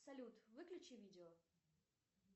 салют выключи видео